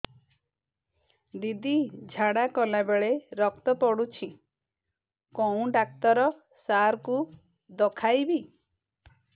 ଦିଦି ଝାଡ଼ା କଲା ବେଳେ ରକ୍ତ ପଡୁଛି କଉଁ ଡକ୍ଟର ସାର କୁ ଦଖାଇବି